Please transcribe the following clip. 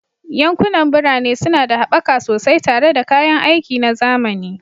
Yankunan birane suna da haɓaka sosai tare da kayan aiki na zamani